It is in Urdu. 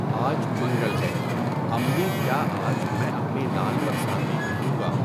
آج منگل ہے امّی کیا آج میں اپنی لال برساتی پہنوں گا؟